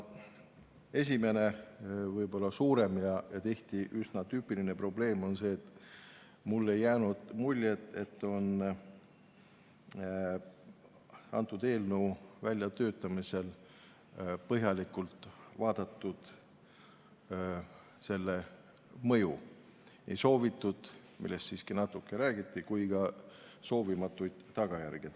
Esimene suurem ja tihti üsna tüüpiline probleem on see, et mulle ei jäänud muljet, et eelnõu väljatöötamisel oleks põhjalikult vaadeldud selle mõju – ei soovitavaid tagajärgi, no neist siiski natuke räägiti, ega ka soovimatuid tagajärgi.